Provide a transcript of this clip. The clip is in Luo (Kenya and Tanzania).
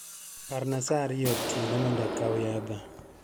Parna saa ariyo otienomondo akaw yadha.